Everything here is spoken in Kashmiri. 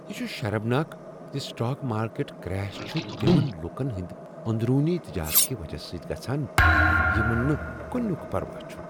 یہ چھ شرمناک ز سٹاک مارکیٹ کریش چھ تمن لوٗکن ہنٛد اندرونی تجارت کہ وجہ سۭتۍ گژھان یمن نہٕ کنیُک پروا چھُ۔